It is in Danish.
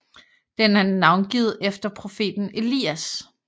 Den er navngivet efter profeten Elias